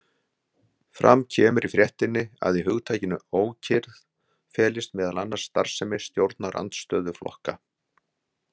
Fram kemur í fréttinni að í hugtakinu „ókyrrð“ felist meðal annars starfsemi stjórnarandstöðuflokka.